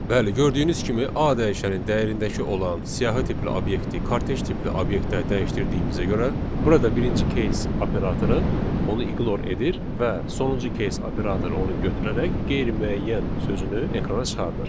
Bəli, gördüyünüz kimi A dəyişənin dəyərindəki olan siyahı tipli obyekti kortej tipli obyektə dəyişdirdiyimizə görə, burada birinci case operatoru onu ignor edir və sonuncu case operatoru onu götürərək qeyri-müəyyən sözünü ekrana çıxarır.